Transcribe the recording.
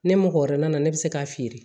Ne mɔgɔ wɛrɛ nana ne bɛ se k'a feere